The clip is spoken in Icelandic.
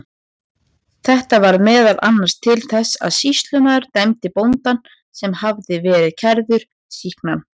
Þetta varð meðal annars til þess að sýslumaður dæmdi bóndann, sem hafði verið kærður, sýknan.